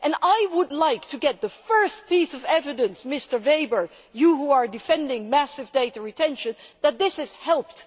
I would like to get the first piece of evidence, Mr Weber you who defend massive data retention that this has helped.